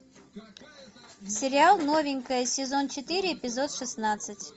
сериал новенькая сезон четыре эпизод шестнадцать